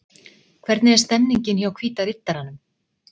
Hvernig er stemningin hjá Hvíta riddaranum?